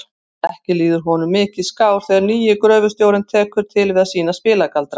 Ekki líður honum mikið skár þegar nýi gröfustjórinn tekur til við að sýna spilagaldra.